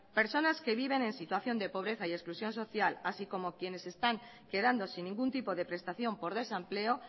personas que viven en situación de pobreza y exclusión social así como quienes se están quedando sin ningún tipo de prestación por desempleo